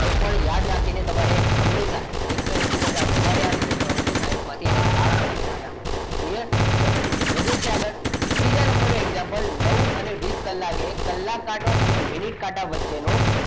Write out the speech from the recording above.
તો પણ યાદ રાખીને તમારે હંમેશા એકસો એસી કરતા વધારે આવે તો ત્રણસો સાઈઠ માંથી તેને બાદ કરવાના clear ચાલો વધુ છે આગળ ત્રીજા નંબરે example નવ અને વીસ કલાકે કલાક કાંટો અને મિનિટ કાંટા વચ્ચે વચ્ચેનો,